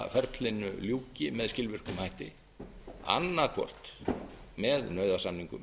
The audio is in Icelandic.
slitaferlinu ljúki með skilvirkum hætti annað hvort með nauðasamningum